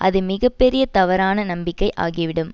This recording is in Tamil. அது மிக பெரிய தவறான நம்பிக்கை ஆகிவிடும்